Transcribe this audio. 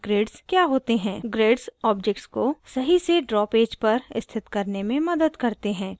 *grids objects को सही से ड्रा पेज पर स्थित करने में मदद करते हैं